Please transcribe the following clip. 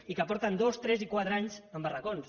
i que porten dos tres i quatre anys amb barracons